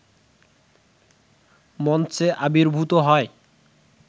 মঞ্চে আবির্ভূত হয়